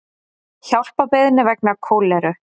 Hjálparbeiðni vegna kóleru